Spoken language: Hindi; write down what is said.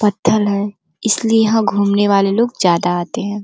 पत्थर है इसलिए यहाँ घूमने वाले लोग ज्यादा आते हैं।